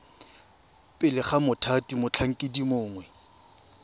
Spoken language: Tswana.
pele ga mothati motlhankedi mongwe